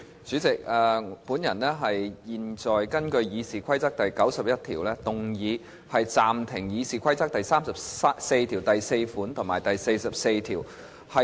主席，我現在根據《議事規則》第91條，動議暫停執行《議事規則》第344條及第44條。